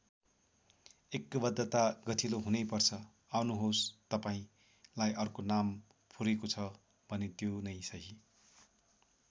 ऐक्यबद्धता गठिलो हुनै पर्छ आउनुहोस् तपाईँंलाई अर्को नाम फुरेको छ भने त्यो नै सही।